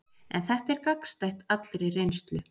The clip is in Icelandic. En þetta er gagnstætt allri reynslu.